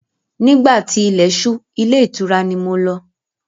Nígbà tí ilẹ̀ ṣú ilé ìtura ni mo lọ.